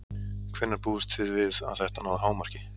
Hvenær búist þið við að þetta nái hámarki?